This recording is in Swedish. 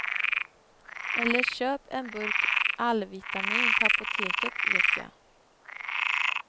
Eller köp en burk allvitamin på apoteket, vetja.